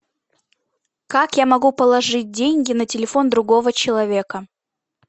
как я могу положить деньги на телефон другого человека